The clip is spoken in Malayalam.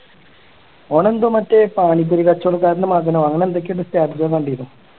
ഓൺ എന്തോ മറ്റേ പാനി പൂരി കച്ചോടക്കാരൻറെ മകനോ അങ്ങനെ എന്തൊക്കെയോ ആണ് status ഞാൻ കണ്ടീനു